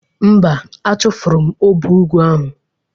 Mba, achụfụrụ m ọbọgwụ ahụ